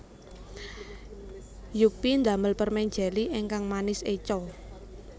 Yuppy ndamel permen jeli ingkang manis eco